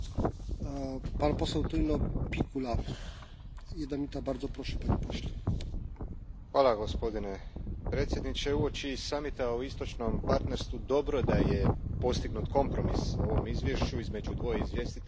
Gospodine predsjedniče, uoči samita o Istočnom partnerstvu dobro je da je postignut kompromis o ovom izvješću između dvoje izvjestitelja tako da su izbjegnuti potencijalno štetni politički problemi prilikom sutrašnjeg glasovanja.